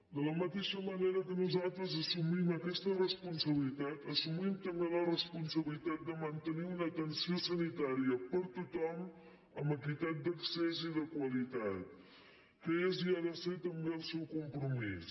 de la mateixa manera que nosaltres assumim aquesta responsabilitat assumim també la responsabilitat de mantenir una atenció sanitària per a tothom amb equitat d’accés i de qualitat que és i ha de ser també el seu compromís